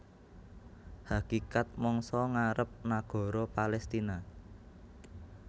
Hakikat mangsa ngarep nagara Palestina